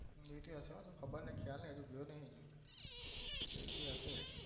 એટલી જ હશે એટલે હશે હો ખબર નહિ ખ્યાલ નથી હું ગયો નહિ